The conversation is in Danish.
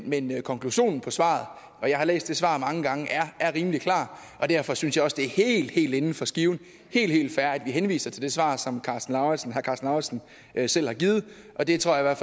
men konklusionen på svaret og jeg har læst det svar mange gange er rimelig klar og derfor synes jeg også det er helt helt inden for skiven og helt fair at vi henviser til det svar som herre karsten lauritzen selv har givet og det tror jeg i